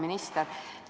Hea minister!